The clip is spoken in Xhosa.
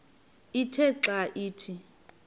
ithe xa ithi